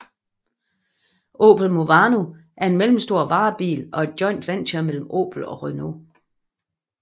Opel Movano er en mellemstor varebil og et joint venture mellem Opel og Renault